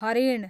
हरिण